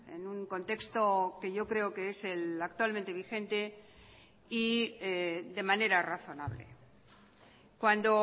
en un contexto que yo creo que es el actualmente vigente y de manera razonable cuando